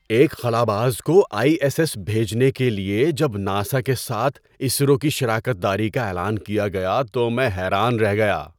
ایک خلاباز کو آئی ایس ایس بھیجنے کے لیے جب ناسا کے ساتھ اسرو کی شراکت داری کا اعلان کیا گیا تو میں حیران رہ گیا!